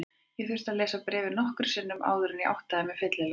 Ég þurfti að lesa bréfið nokkrum sinnum áður en ég áttaði mig fyllilega.